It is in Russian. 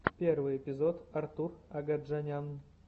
первый эпизод артур агаджанян